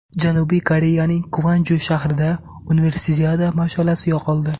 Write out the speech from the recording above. Janubiy Koreyaning Kvanju shahrida Universiada mash’alasi yoqildi.